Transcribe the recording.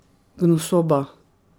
Gnusoba.